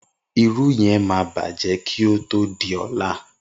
Irú yen máa bàjẹ́ kí o tó di ọ̀la.